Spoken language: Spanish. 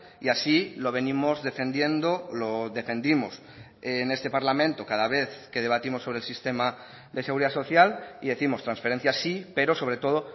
y así lo venimos defendiendo lo defendimos en este parlamento cada vez que debatimos sobre el sistema de seguridad social y décimos transferencias sí pero sobre todo